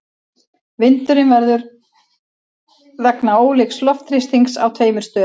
Vindurinn verður vegna ólíks loftþrýstings á tveimur stöðum.